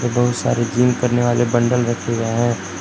बहुत सारे जिम करने वाले बंडल रखे गए है।